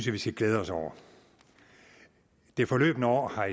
vi skal glæde os over det forløbne år har